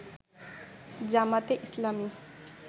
জামায়াতে ইসলামী